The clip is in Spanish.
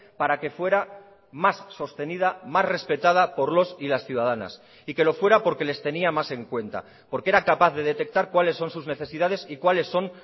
para que fuera más sostenida más respetada por los y las ciudadanas y que lo fuera porque les tenía más en cuenta porque era capaz de detectar cuáles son sus necesidades y cuáles son